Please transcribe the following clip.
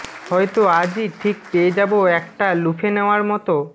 হয়তো আজই ঠিক পেয়ে যাবো একটা লুফে নেয়ার মতো